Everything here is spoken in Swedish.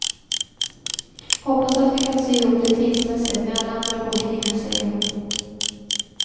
Hoppas att vi kan sy ihop det tidsmässigt med alla andra bokningar, säger hon.